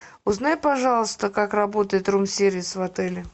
узнай пожалуйста как работает рум сервис в отеле